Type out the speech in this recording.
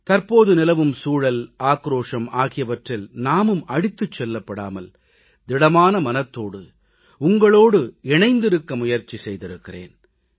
தற்போது நிலவும் சூழல் ஆக்ரோஷம் ஆகியவற்றில் நாமும் அடித்துச் செல்லப்படாமல் திடமான மனதோடு உங்களோடு இணைந்திருக்க முயற்சி செய்திருக்கிறேன்